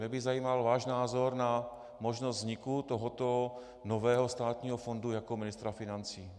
Mě by zajímal váš názor na možnost vzniku tohoto nového státního fondu jako ministra financí.